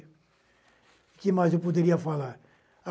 O que mais eu poderia falar?